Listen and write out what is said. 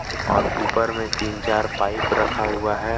और ऊपर में तीन चार पाइप रखा हुआ है।